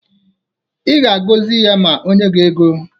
Ị ga-agọzi ya ma o nye gị ego.